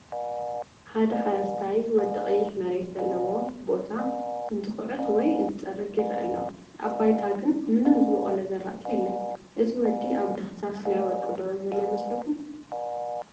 ሓደ ሓረስታይ ወዲ ቀይሕ መሬት ዘለዎ ቦታ እንትኹዕት ወይ እንትፀርግ ይረአ ኣሎ፡፡ ኣብ ባይታ ግን ምንም ዝበቆለ ዝራእቲ የለን፡፡ እቲ ወዲ ኣብ ዳህሳስ ናይ ወርቂ ዶ ዘሎ ይመስለኩም?